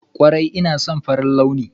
Kwarai ina son farin launi.